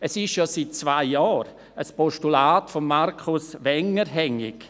Es ist ja seit zwei Jahren ein Postulat von Markus Wenger hängig.